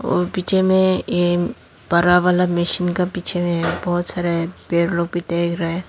और पीछे में ये बड़ा वाला मशीन का पीछे मे बहोत सारा पेड़ लोग भी देख रहा है।